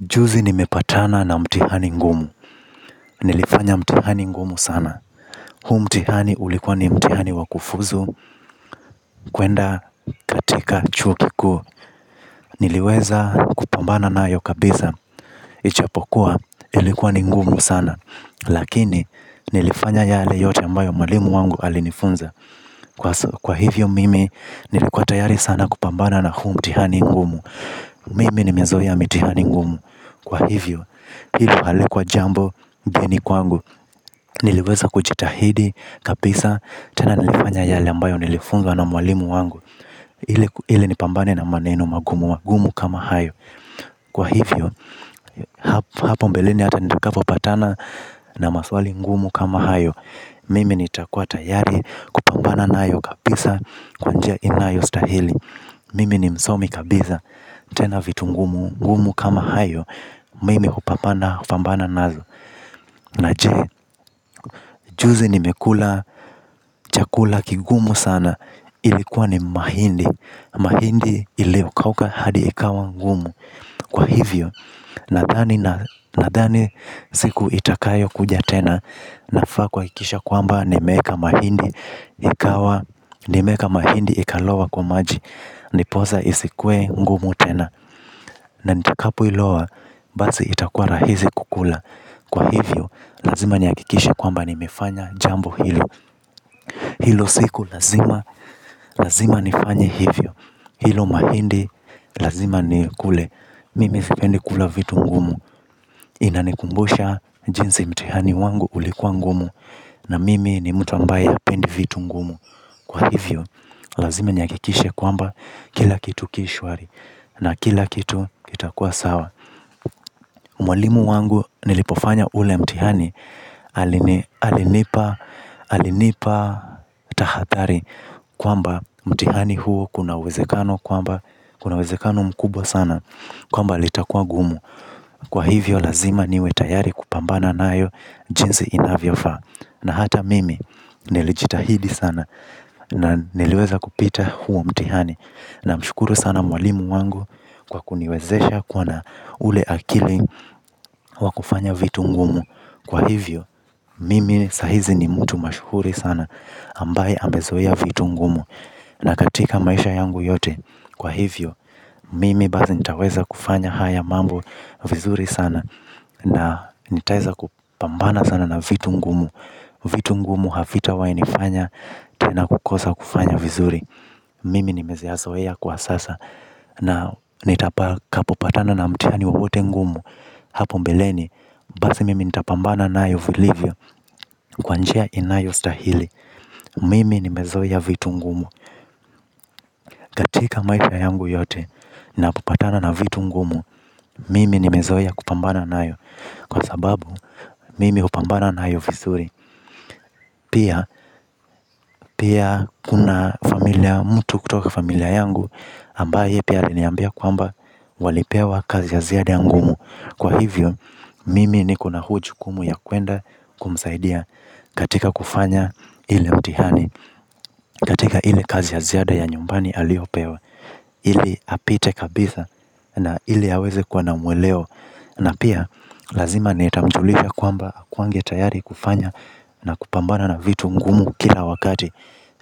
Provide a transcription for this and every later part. Juzi nimepatana na mtihani ngumu. Nilifanya mtihani ngumu sana. Huu mtihani ulikuwa ni mtihani wakufuzu. Kwenda, katika, chuo kikuu. Niliweza kupambana nayo kabisa. Ijapokuwa, ilikuwa ni ngumu sana. Lakini nilifanya yale yote ambayo mwalimu wangu alinifunza. Kwa hivyo mimi, nilikuwa tayari sana kupambana na huu mtihani ngumu. Mimi nimezoea mitihani ngumu. Kwa hivyo, hilo halikuwa jambo, geni kwangu. Niliweza kujitahidi, kabisa, tena nilifanya yale ambayo nilifunzwa na mwalimu wangu ili nipambane na maneno magumu magumu kama hayo. Kwa hivyo, hapo mbeleni ata nitakapo patana na maswali ngumu kama hayo. Mimi nitakuwa tayari kupambana na hayo kabisa kwa njia inayostahili. Mimi ni msomi kabisa, tena vitu ngumu, ngumu kama hayo. Mimi hupambana bambana nazo. Na je, juzi nimekula chakula kigumu sana ilikuwa ni mahindi. Mahindi iliyokauka hadi ikawa ngumu. Kwa hivyo, nadhani siku itakayo kuja tena nafaa kuhakikisha kwamba nimeeka mahindi ikawa. Nimeeka mahindi ikalowa kwa maji. Ndiposa isikuwe ngumu tena. Na nitakapo ilowa, basi itakua rahisi kukula. Kwa hivyo, lazima nihakikishe kwamba nimefanya jambo hilo. Hilo siku, lazima, lazima nifanye hivyo. Hilo mahindi, lazima nikule. Mimi sipendi kula vitu ngumu inanikumbusha jinsi mtihani wangu ulikuwa ngumu. Na mimi ni mtu ambaye hapendi vitu ngumu. Kwa hivyo, lazima nihakikishe kwamba kila kitu kishwari. Na kila kitu itakuwa sawa. Mwalimu wangu nilipofanya ule mtihani. Alinipa tahathari kwamba mtihani huu kuna uwezekano mkubwa sana. Kwamba litakwa ngumu. Kwa hivyo lazima niwe tayari kupambana nayo. Jinsi inavyofaa. Na hata mimi nilijitahidi sana. Na niliweza kupita huo mtihani. Namshukuru sana mwalimu wangu. Kwa kuniwezesha kuwa na ule akili wakufanya vitu ngumu. Kwa hivyo, mimi sahizi ni mtu mashuhuri sana ambaye amezoea vitu ngumu. Na katika maisha yangu yote. Kwa hivyo, mimi basi nitaweza kufanya haya mambo vizuri sana. Na nitaeza kupambana sana na vitu ngumu. Vitu ngumu havitawahi nifanya tena kukosa kufanya vizuri mimi nimeyazoea kwa sasa. Na nitapa kapopatana na mtihani wowote ngumu. Hapo mbeleni. Basi mimi nitapambana nayo vilivyo. Kwa njia inayostahili. Mimi nimezoea vitu ngumu. Katika maisha yangu yote. Napopatana na vitu ngumu. Mimi nimezoia kupambana na ayo. Kwa sababu mimi hupambana nayo vizuri. Pia pia kuna familia mtu kutoka familia yangu ambaye pia aliniambia kwamba walipewa kazi ya ziada ngumu. Kwa hivyo. Mimi nikona hujukumu ya kuenda. Kumsaidia. Katika kufanya ile mtihani. Katika ile kazi ya ziada ya nyumbani aliopewa ili apite kabisa. Na ili aweze kuwa na mweleo. Na pia lazima nitamjulisha kwamba akuange tayari kufanya. Na kupambana na vitu ngumu kila wakati.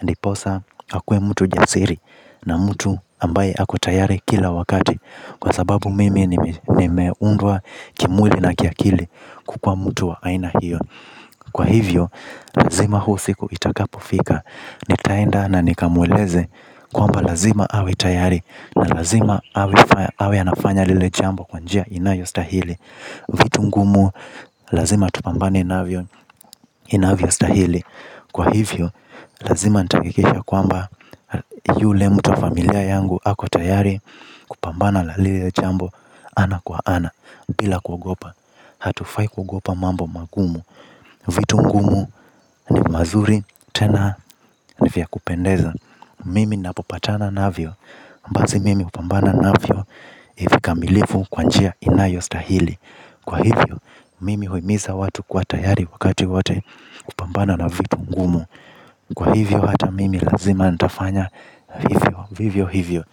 Ndiposa akue mtu jasiri. Na mtu ambaye ako tayari kila wakati. Kwa sababu mimi nimeundwa kimwili na kiakili kukua mtu wa aina hiyo. Kwa hivyo, lazima huu siku itakapofika. Nitaenda na nikamweleze. Kwamba lazima awe tayari na lazima awe anafanya lile jambo kwa njia inayo stahili. Vitu ngumu, lazima tupambane navyo inayvostahili. Kwa hivyo, lazima nitahatakikisha kwamba yule mtu wa familia yangu ako tayari. Pambana la lile jambo ana kwa ana. Bila kuogopa. Hatufai kuogopa mambo mangumu vitu ngumu ni mazuri tena ni vya kupendeza. Mimi napopatana navyo basi mimi hupambana navyo. Ivi kamilifu kwa njia inayo stahili. Kwa hivyo mimi huimiza watu kwa tayari wakati wowote kupambana na vitu ngumu. Kwa hivyo hata mimi lazima nitafanya hivyo vivyo hivyo.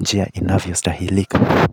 Njia inavyostahilika.